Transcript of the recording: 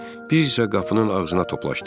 Biz isə qapının ağzına toplaşdıq.